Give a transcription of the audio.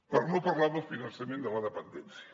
per no parlar del finançament de la dependència